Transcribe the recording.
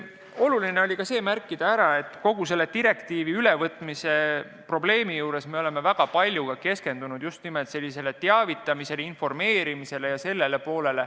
Oluline on ära märkida, et kogu selle direktiivi ülevõtmisel me oleme väga palju keskendunud just nimelt teavitamisele, informeerimisele.